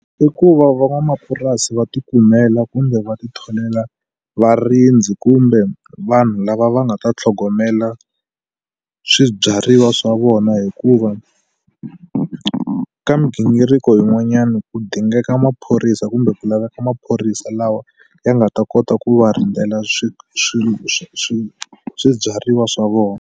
I ku va van'wamapurasi va ti kumela kumbe va ti tholela varindzi kumbe vanhu lava va nga ta tlhogomela swibyariwa swa vona hikuva ka migingiriko yin'wanyani ku dingeka maphorisa kumbe ku laveka maphorisa lawa ya nga ta kota ku va rindzela swibyariwa swa vona.